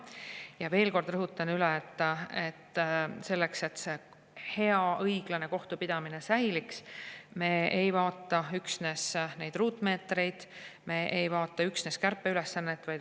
Ma veel kord rõhutan: selleks, et meil hea ja õiglane kohtupidamine säiliks, me ei vaata üksnes ruutmeetreid, me ei vaata üksnes kärpeülesannet.